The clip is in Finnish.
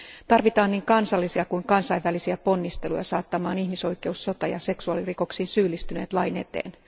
Tarvitaan niin kansallisia kuin kansainvälisiä ponnisteluja saattamaan ihmisoikeus sota ja seksuaalirikoksiin syyllistyneet lain eteen.